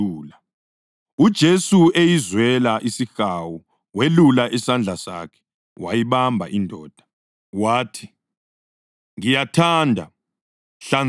UJesu eyizwela isihawu welula isandla sakhe wayibamba indoda. Wathi, “Ngiyathanda. Hlanzeka!”